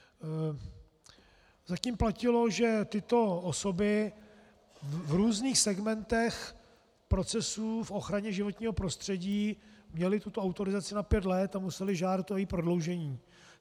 Zatím platilo, že tyto osoby v různých segmentech procesů v ochraně životního prostředí měly tuto autorizaci na pět let a musely žádat o její prodloužení.